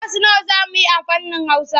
Kwas nawa za mu yi na fannin Hausa?